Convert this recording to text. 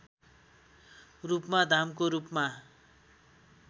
रूपमा धामको रूपमा